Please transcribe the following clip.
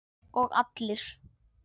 Og allir?